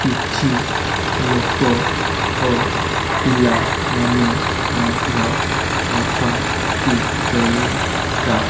କିଛି ଲୋକ ଓ ପିଲା ମାନେ ମଧ୍ୟ ଅଛନ୍ତି ସେଇଟା।